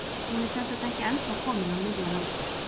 Hún er sem sagt ekki ennþá komin á miðjan aldur.